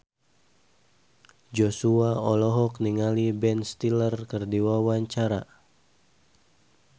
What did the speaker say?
Joshua olohok ningali Ben Stiller keur diwawancara